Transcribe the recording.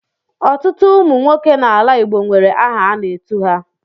Ọtụtụ ụmụ nwoke n'ala Igbo nwere aha a na-etu ha.